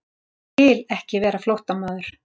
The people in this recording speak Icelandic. Ég vil ekki vera flóttamaður.